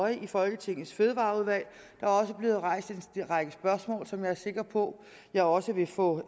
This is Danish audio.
i folketingets fødevareudvalg der er også blevet rejst en række spørgsmål som jeg er sikker på jeg også vil få